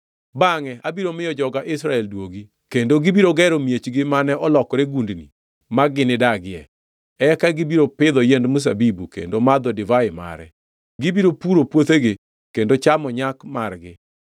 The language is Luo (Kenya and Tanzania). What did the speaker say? Bangʼe abiro miyo joga Israel duogi. “Kendo gibiro gero miechgi mane olokore gundni ma ginidagie, eka gibiro pidho yiend mzabibu, kendo madho divai mare. Gibiro puro puothegi, kendo chamo nyak margi.